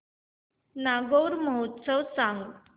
नागौर महोत्सव सांग